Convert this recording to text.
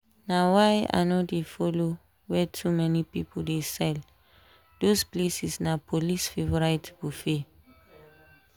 na why i no dey follow where too many people dey sell those places na police favorite buffet.